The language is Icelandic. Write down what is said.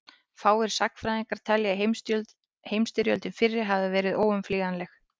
fáir sagnfræðingar telja að heimsstyrjöldin fyrri hafi verið óumflýjanleg